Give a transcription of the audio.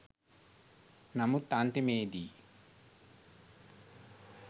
නමුත් අන්තිමේදී